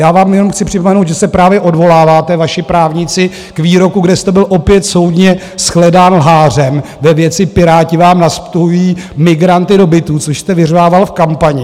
Já vám jenom chci připomenout, že se právě odvoláváte, vaši právníci, k výroku, kde jste byl opět soudně shledán lhářem ve věci "Piráti vám nastěhují migranty do bytů", což jste vyřvával v kampani.